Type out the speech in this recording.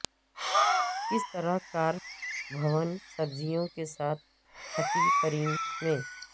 کس طرح کارپ بھون سبزیوں کے ساتھ ھٹی کریم میں